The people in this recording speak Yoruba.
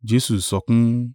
Jesu sọkún.